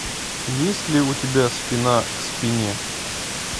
есть ли у тебя спина к спине